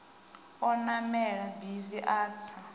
o namela bisi a tsa